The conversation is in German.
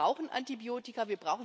Wir brauchen Antibiotika.